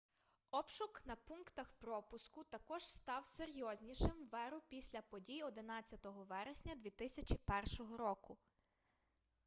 обшук на пунктах пропуску також став серйознішим в еру після подій 11 вересня 2001 року